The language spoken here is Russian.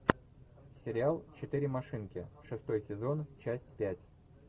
сериал четыре машинки шестой сезон часть пять